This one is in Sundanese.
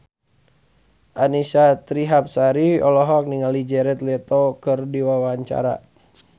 Annisa Trihapsari olohok ningali Jared Leto keur diwawancara